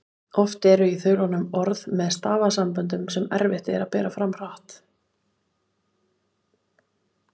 Oft eru í þulunum orð með stafasamböndum sem erfitt er að bera fram hratt.